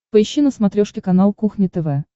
поищи на смотрешке канал кухня тв